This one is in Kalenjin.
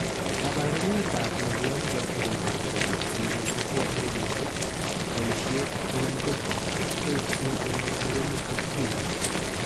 kaparunetap mianwokik chotok komuchi koterchin kosupke ak kenyisiek ,paishet anan koterchin eng murenik ak tipik